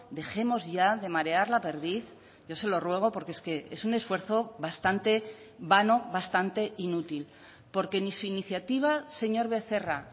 dejemos ya de marear la perdiz yo se lo ruego porque es que es un esfuerzo bastante vano bastante inútil porque ni su iniciativa señor becerra